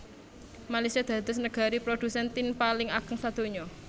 Malaysia dados negari prodhusen tin paling ageng sadonya